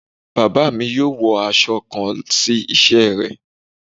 Baba mi yóò wọ aṣọ kàn si iṣẹ́ rẹ